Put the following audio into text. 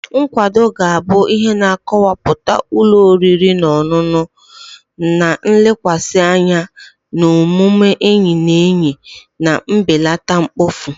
Nkwado ga-abụ ihe na-akọwapụta ụlọ oriri na ọṅụṅụ, na-elekwasị anya na omume enyi na enyi na mbelata mkpofu.